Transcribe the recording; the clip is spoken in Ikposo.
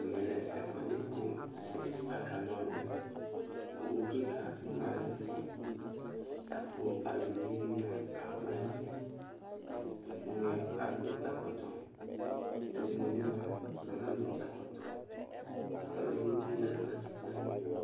Ɛmɛ lɛ ɛfʋɛdɩ kʋ akana ɔlʋ Owu kɩka dɩ ma nʋ ɛfɛ la kʋ aluvi bɩ mʋa, akɔ nʋ ɛfɛ Ɛdɩnɩ adʋ ɛkɔtɔ, ɛdɩnɩ bɩ mʋa, anadʋ ɛkɔtɔ Ɔlʋ edigbo bɩ ya nʋ katikpo yɛ ayinu